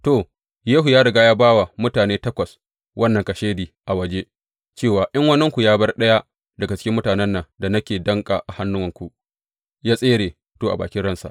To, Yehu ya riga ya ba wa mutane takwas wannan kashedi a waje cewa, In waninku ya bar ɗaya daga cikin mutanen nan da nake danƙa a hannunku ya tsere, to, a bakin ransa.